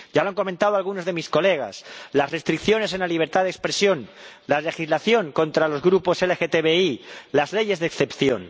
Ya lo han comentado algunos de mis colegas las restricciones a la libertad de expresión, la legislación contra los grupos LGTBI, las leyes de excepción.